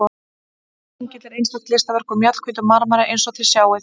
Þessi engill er einstakt listaverk úr mjallhvítum marmara eins og þið sjáið.